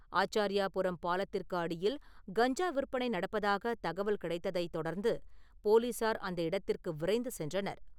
ஆச்சார்யாபுரம் பாலத்திற்கு அடியில் கஞ்சா விற்பனை நடப்பதாகத் தகவல் கிடைத்ததைத் தொடர்ந்து, போலீசார் அந்த இடத்திற்கு விரைந்து சென்றனர்.